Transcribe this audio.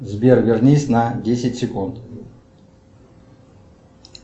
сбер вернись на десять секунд